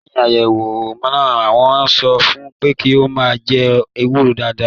Lẹyìn ayẹwo náà, wọn sọ fún pé kí o máa jẹ ewúro dáadáa